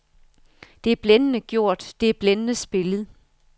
Det er blændende gjort, det er blændende spillet.